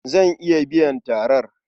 Zan iya biyan tarar.